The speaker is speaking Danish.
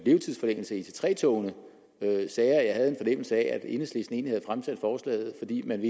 levetidsforlængelse af ic3 togene sagde at jeg havde en fornemmelse af at enhedslisten egentlig havde fremsat forslaget fordi man